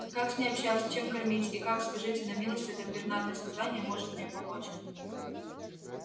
как с ней общаться чем кормить и как скажите на милость это пернатое создание может мне помочь